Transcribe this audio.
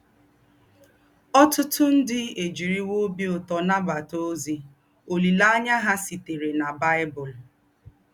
Ọ̀tútù ndí́ èjíríwò óbí ụ́tọ́ nàbátà ózí òlíléáṇyá hà sítèrè nà Bible